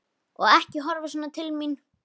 Og ekki horfa svona til mín!